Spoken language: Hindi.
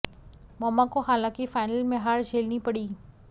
मौमा को हालांकि फाइनल में हार झेलनी पड़ी